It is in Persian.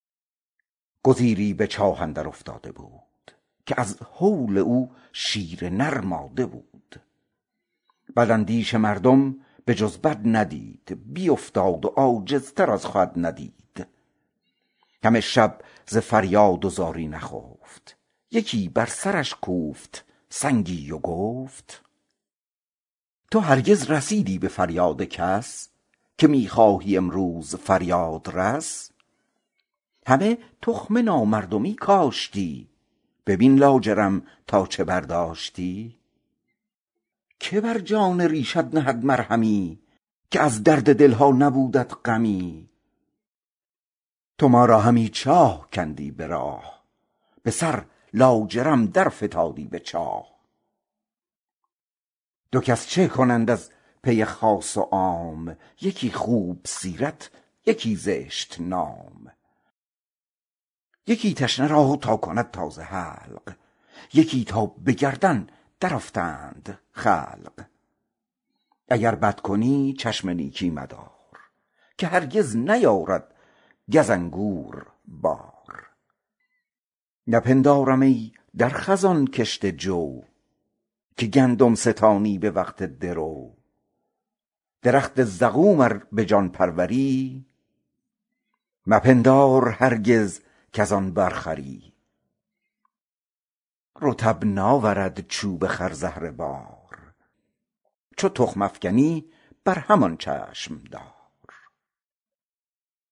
گزیری به چاهی در افتاده بود که از هول او شیر نر ماده بود بداندیش مردم به جز بد ندید بیافتاد و عاجزتر از خود ندید همه شب ز فریاد و زاری نخفت یکی بر سرش کوفت سنگی و گفت تو هرگز رسیدی به فریاد کس که می خواهی امروز فریادرس همه تخم نامردمی کاشتی ببین لاجرم بر که برداشتی که بر جان ریشت نهد مرهمی که دلها ز ریشت بنالد همی تو ما را همی چاه کندی به راه به سر لاجرم در فتادی به چاه دو کس چه کنند از پی خاص و عام یکی نیک محضر دگر زشت نام یکی تشنه را تا کند تازه حلق دگر تا به گردن در افتند خلق اگر بد کنی چشم نیکی مدار که هرگز نیارد گز انگور بار نپندارم ای در خزان کشته جو که گندم ستانی به وقت درو درخت زقوم ار به جان پروری مپندار هرگز کز او بر خوری رطب ناورد چوب خرزهره بار چو تخم افکنی بر همان چشم دار